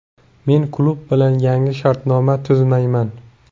Men klub bilan yangi shartnoma tuzmayman.